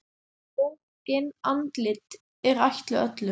Bókin Andlit er ætluð öllum.